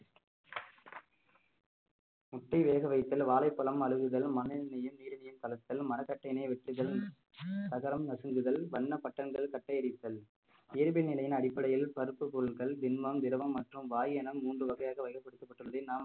முட்டை வேக வைத்தல் வாழைப்பழம் அழுகுதல் மண்ணென்னையில் கலத்தல் மரக்கட்டையினை வெட்டுதல் தகரம் நசுங்குதல் வண்ணப்பட்டங்கள் கட்டை அடித்தல் இயல்பு நிலையின் அடிப்படையில் பருப்புப் பொருட்கள் திண்மம், திரவம் மற்றும் வாயு என மூன்று வகையாக வகைப்படுத்தப்பட்டுள்ளது நாம்